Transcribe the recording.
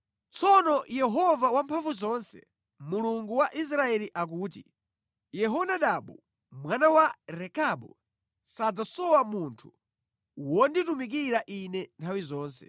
Tsono Yehova Wamphamvuzonse, Mulungu wa Israeli akuti, “Yehonadabu mwana wa Rekabu sadzasowa munthu wonditumikira Ine nthawi zonse.”